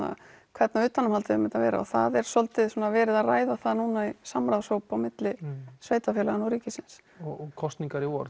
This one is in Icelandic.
hvernig utanumhaldið á að vera og það er svolítið svona verið að ræða það núna í samráðshóp á milli sveitarfélaganna og ríkisins og kosningar í vor